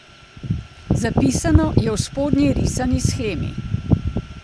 Zapisano je v spodnji risani shemi.